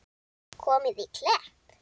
Komið á Klepp?